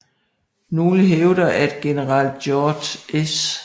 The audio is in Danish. Nogle hævder at general George S